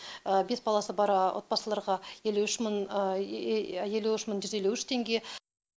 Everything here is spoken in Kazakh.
бес баласы бар отбасыларға елу үш мың елу үш мың жүз елу үш теңге